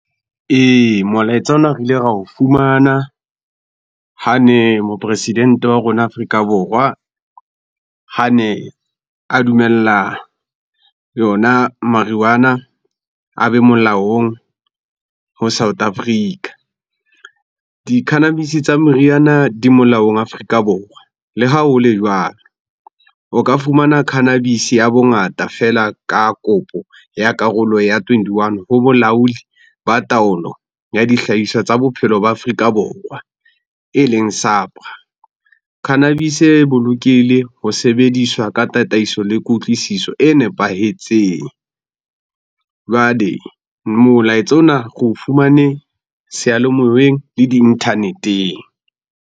Ee, molaetsa ona re ile ra o fumana hane mopresidente wa rona Afrika Borwa, hane a dumella yona a be molaong ho South Africa. Di-cannabis-e tsa meriyana di molaong Afrika Borwa. Le ha hole jwalo, o ka fumana cannabis-e ya bongata feela ka kopo ya karolo ya twenty-one ho bolaodi ba taolo ya dihlahiswa tsa bophelo ba Afrika Borwa eleng . Cannabis-e e bolokehile ho sebediswa ka tataiso le kutlwisiso e nepahetseng. Jwale molaetsa ona re o fumane seyalemoyeng le di-internet-eng.